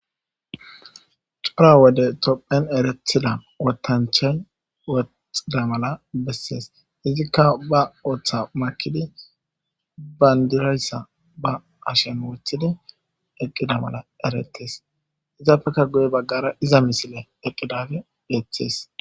cora wode topphen erethida wotanchay woxida mala bessees izikka ba woththa makidi bandirayssa ba ashen woothidi eqqida mala eretes izapeka guye baggara iza misile eqqidage beeththees